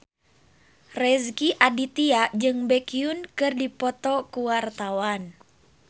Rezky Aditya jeung Baekhyun keur dipoto ku wartawan